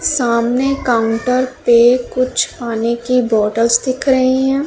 सामने काउंटर पे कुछ पानी की बॉटल्स दिख रही है।